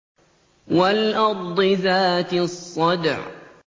وَالْأَرْضِ ذَاتِ الصَّدْعِ